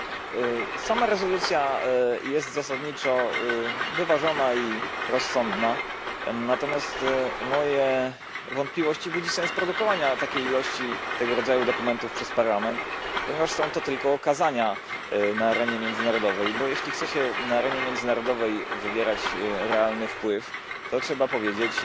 Panie Przewodniczący! Sama rezolucja jest zasadniczo wyważona i rozsądna, natomiast moje wątpliwości budzi sens produkowania takiej ilości tego rodzaju dokumentów przez Parlament, ponieważ są to tylko okazania na arenie międzynarodowej, bo jeśli chce się na arenie międzynarodowej wywierać realny wpływ, to trzeba powiedzieć,